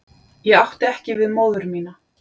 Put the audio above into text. Ég átti ekki við móður mína.